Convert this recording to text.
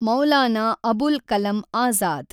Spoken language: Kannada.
ಮೌಲಾನಾ ಅಬುಲ್ ಕಲಂ ಆಝಾದ್